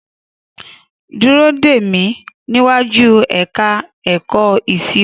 Dúró dè mí níwájú ẹ̀ka ẹ̀kọ́ ìṣirò!